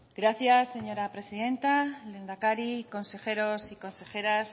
gracias señora presidenta lehendakari consejeros y consejeras